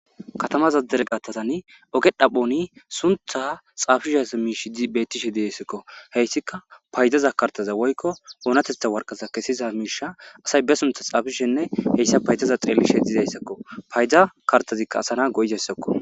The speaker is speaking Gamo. Katama dereqatazan ogge dhaphon sunththa xafiza mishsheti bettishe dessiko hessika faydaza kartaza woykko onateththa waraqata kesiza misha asay be sunthths xafetishene hessa faydaza xelishe dizaysako payda kartazika asa goizaysako.